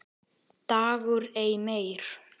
DAGUR EI MEIR